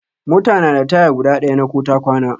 Mota na da taya guda ɗaya na ko ta kwana.